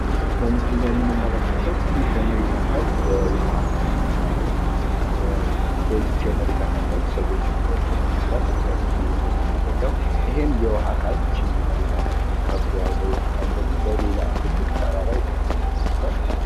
በምስሉ ላይ የምንመለከተው ትንሽ የመሬት አካል ውሀ አካል ተከባ ነው። በዚች የመሬት አካል ላይም ሰዎች ሚኖሩበት ይመስላል። ከምስሉ እንደምንረዳው ይችን የመሬት አካል ክቦ የያዘ የውሃ አካል ደግሞ በሌላ ትልቅ ተራራ የተከበረ ይመስላል።